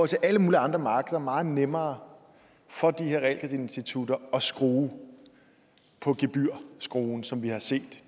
til alle mulige andre markeder er meget nemmere for de her realkreditinstitutter at skrue på gebyrskruen som vi har set